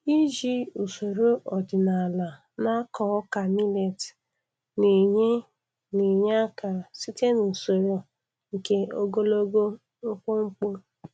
Iji usoro ọdịnala na-akọ ọka milet na-enye na-enye aka site n'usoro nke ogologo mkpumkpu.